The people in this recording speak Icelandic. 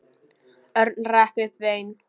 Örn rak upp vein.